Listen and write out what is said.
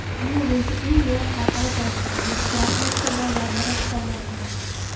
Dunyo bo‘yicha eng yosh xalqaro toifadagi grossmeysterlardan biri hisoblanadi.